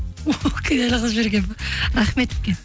кінәлі қылып жіберген бе рахмет үлкен